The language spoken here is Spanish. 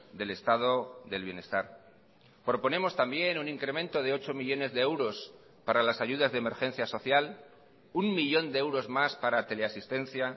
del estado del bienestar proponemos también un incremento de ocho millónes de euros para las ayudas de emergencia social uno millón de euros más para teleasistencia